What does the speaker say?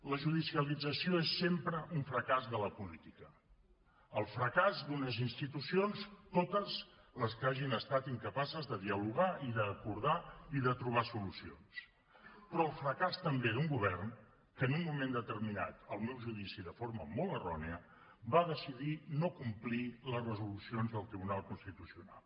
la judicialització és sempre un fracàs de la política el fracàs d’unes institucions totes les que hagin estat incapaces de dialogar i d’acordar i de trobar solucions però el fracàs també d’un govern que en un moment determinat al meu judici de forma molt errònia va decidir no complir les resolucions del tribunal constitucional